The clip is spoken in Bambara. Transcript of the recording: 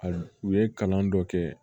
A u ye kalan dɔ kɛ